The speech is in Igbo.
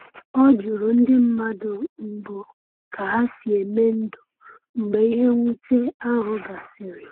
O jụrụ ndị mmadụ mbụ ka ha si eme ndụ mgbe ihe mwute ahụ gasịrị.